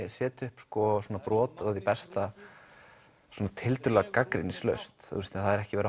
setja upp brot af því besta gagnrýnislaust það er ekki verið